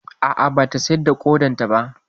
A'a, ba ta sayar da ƙodarta ba.